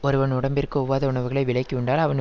ஒருவன் உடம்பிற்கு ஒவ்வொத உணவுகளை விலக்கி உண்டால் அவன்